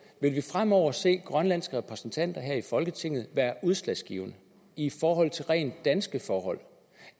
vil vi fremover se grønlandske repræsentanter her i folketinget være udslagsgivende i forhold til rent danske forhold